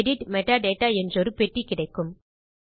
edit metadata என்றொரு பெட்டி கிடைக்கும்